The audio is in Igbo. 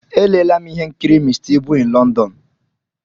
Elela'm ihe nkiri Mr Ibu in London.